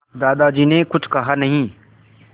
दादाजी ने कुछ कहा नहीं